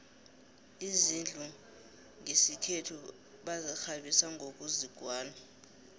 izindlu nqesikhethu bazikqabisa nqokuzigwala